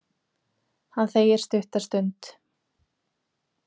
Hann þegir stutta stund.